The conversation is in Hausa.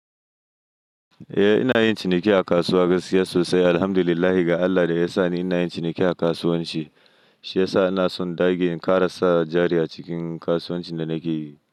Eh ina yin ciniki a kasuwa gaskiya sosai. Alhamdulillah ga Allah da ya sa ni ina yin ciniki a kasuwanci, shi ya sa ina son ɗage kara sa jari a cikin kasuwancin da nake yi.